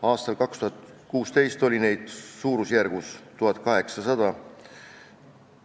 Aastal 2016 oli neid suurusjärgus 1800.